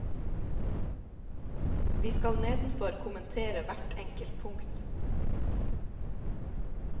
Vi skal nedenfor kommentere hvert enkelt punkt.